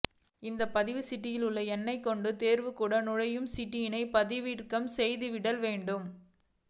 இந்த பதிவுச் சீட்டில் உள்ள எண்ணை கொண்டே தேர்வுக்கூட நுழைவுச் சீட்டினை பதிவிறக்கம் செய்திடல் வேண்டும்